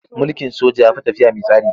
Mulkin soja ya fi tafiya man tsari.